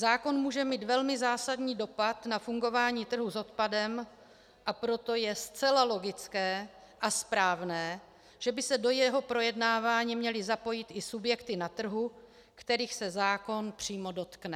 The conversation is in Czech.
Zákon může mít velmi zásadní dopad na fungování trhu s odpadem, a proto je zcela logické a správné, že by se do jeho projednávání měly zapojit i subjekty na trhu, kterých se zákon přímo dotkne.